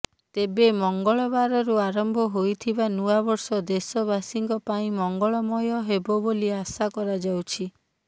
ତେବେ ମଙ୍ଗଳବାରରୁ ଆରମ୍ଭ ହୋଇଥିବା ନୂଆବର୍ଷ ଦେଶବାସୀଙ୍କ ପାଇଁ ମଙ୍ଗଳମୟ ହେବ ବୋଲି ଆଶା କରାଯାଉଛି